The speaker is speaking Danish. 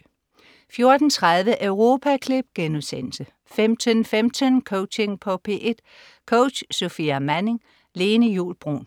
14.30 Europaklip* 15.15 Coaching på P1. Coach: Sofia Manning. Lene Juul Bruun 16.00